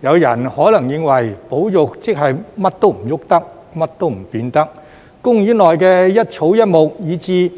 有人可能認為保育即是甚麼也不能動、甚麼也不能變，公園內的一草一木，以至